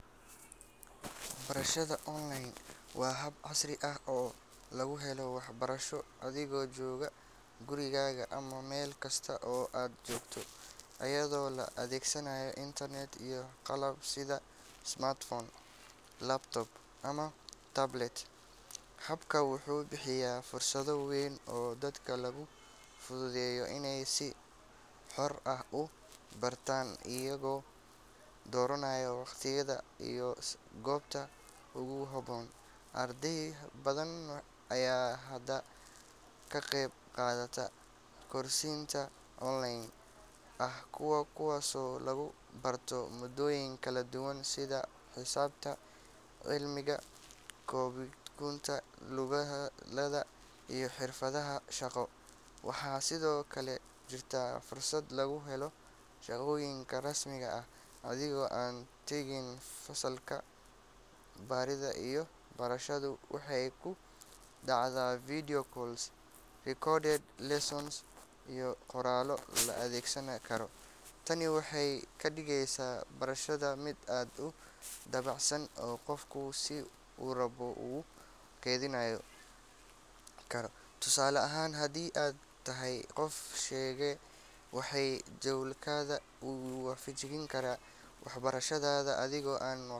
Barashada online waa hab casri ah oo lagu helo waxbarasho adigoo jooga gurigaaga ama meel kasta oo aad joogto, iyadoo la adeegsanayo internet iyo qalab sida smartphone, laptop, ama tablet. Habkan wuxuu bixiyaa fursad weyn oo dadka loogu fududeeyo inay si xor ah u bartaan, iyagoo dooranaya waqtiga iyo goobta ugu habboon. Arday badan ayaa hadda ka qeyb qaata koorsooyin online ah, kuwaasoo lagu barto maadooyin kala duwan sida xisaabta, cilmiga kombiyuutarka, luqadaha, iyo xirfadaha shaqo. Waxaa sidoo kale jirta fursad lagu helo shahaadooyin rasmi ah adigoo aan tegin fasalka. Baridda iyo barashadu waxay ku dhacdaa video calls, recorded lessons, iyo qoraallo la akhrisan karo. Tani waxay ka dhigeysaa barashada mid aad u dabacsan oo qofku si uu rabo ugu qayb qaadan karo. Tusaale ahaan, haddii aad tahay qof shaqeeya, waxaad jadwalkaaga u waafajin kartaa waxbarashadaada adigoo aan.